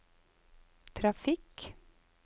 trafikk